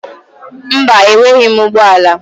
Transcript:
Mba, enweghị m ụgbọ ala.